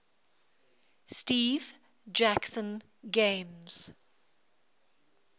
steve jackson games